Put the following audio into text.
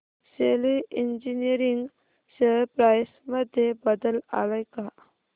शेली engineering share price मध्ये बदल आलाय का